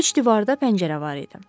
Üç divarda pəncərə var idi.